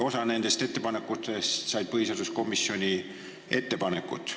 Osast nende ettepanekutest said põhiseaduskomisjoni ettepanekud.